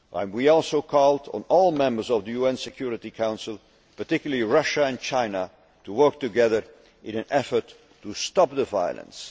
People. We also called on all members of the UN Security Council, particularly Russia and China, to work together in an effort to stop the